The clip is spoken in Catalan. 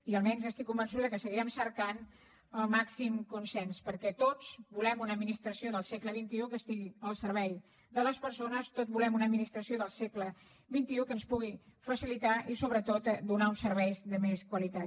i almenys estic convençuda que seguirem cercant el màxim consens perquè tots volem una administració del segle xxi que estigui al servei de les persones tots volem una administració del segle xxicilitar i sobretot donar uns serveis de més qualitat